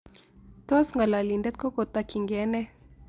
Tos' ng'alalindet ko kotokyingee nee